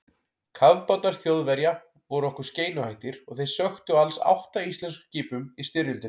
Kafbátar Þjóðverja voru okkur skeinuhættir og þeir sökktu alls átta íslenskum skipum í styrjöldinni.